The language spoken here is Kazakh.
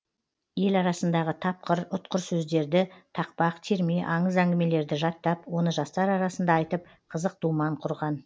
ел арасындағы тапқыр ұтқыр сөздерді тақпақ терме аңыз әңгімелерді жаттап оны жастар арасында айтып қызық думан құрған